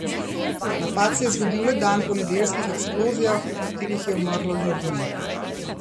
Napad se je zgodil le dan po nedeljskih eksplozijah, v katerih je umrlo ljudi.